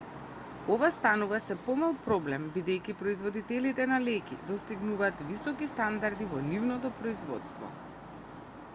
ова станува сѐ помал проблем бидејќи производителите на леќи достигнуваат високи стандарди во нивното производство